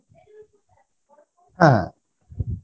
হ্যাঁ